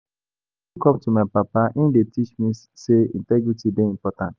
I dey look up to my papa, im dey teach me sey integrity dey important.